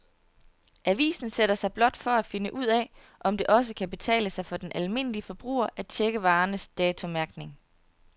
Avisen sætter sig blot for at finde ud af, om det også kan betale sig for den almindelige forbruger at checke varernes datomærkning.